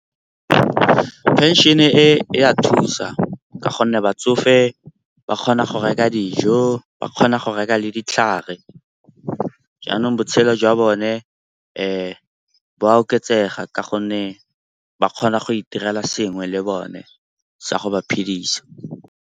Phenšene e ya thusa ka gonne batsofe ba kgona go reka dijo, ba kgona go reka le ditlhare jaanong botshelo jwa bone bo a oketsega ka gonne ba kgona go itirela sengwe le bone tsa go ba phedisa.